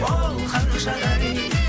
оу ханшадай